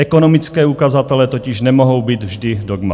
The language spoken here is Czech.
Ekonomické ukazatele totiž nemohou být vždy dogma.